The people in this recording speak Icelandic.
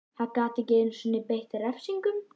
Hann gat ekki einu sinni beitt refsingum.